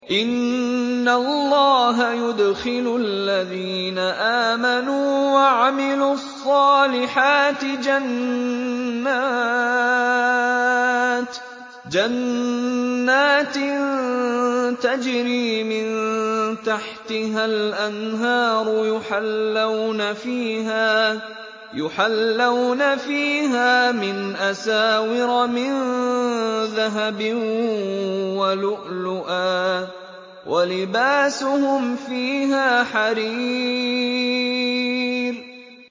إِنَّ اللَّهَ يُدْخِلُ الَّذِينَ آمَنُوا وَعَمِلُوا الصَّالِحَاتِ جَنَّاتٍ تَجْرِي مِن تَحْتِهَا الْأَنْهَارُ يُحَلَّوْنَ فِيهَا مِنْ أَسَاوِرَ مِن ذَهَبٍ وَلُؤْلُؤًا ۖ وَلِبَاسُهُمْ فِيهَا حَرِيرٌ